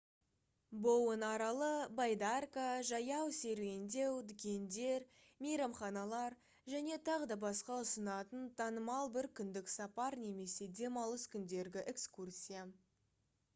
боуэн аралы байдарка жаяу серуендеу дүкендер мейрамханалар және т.б. ұсынатын танымал бір күндік сапар немесе демалыс күндергі экскурсия